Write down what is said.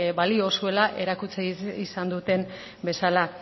balio zuela erakutsi izan duten bezala